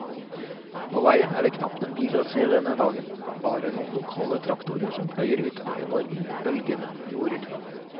På veien er det knapt en bil å se denne dagen, bare noen lokale traktorer som pløyer ute på enorme, bølgende jorder.